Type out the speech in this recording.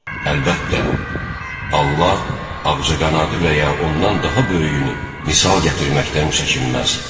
Əlbəttə, Allah ağcaqanadı və ya ondan daha böyüyünü misal gətirməkdən çəkinməz.